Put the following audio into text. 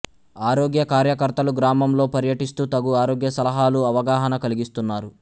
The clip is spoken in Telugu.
ఆరోగ్య కార్యకర్తలు గ్రామంలో పర్యటిస్తూ తగు ఆరోగ్య సలహాలు అవగాహన కలిగిస్తున్నారు